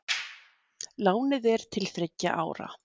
Lánið er til þriggja ára